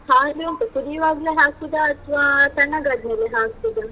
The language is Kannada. ಹಾಲು ಎಂತ ಕುದಿಯುವಾಗ್ಲೇ ಹಾಕುದ ಅಥ್ವ ತಣ್ಣಗಾದ್ಮೇಲೆ ಹಾಕುದಾ?